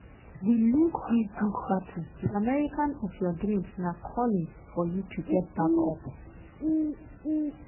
"we lose dis dis battle di america of your dreams na calling for you to get back up."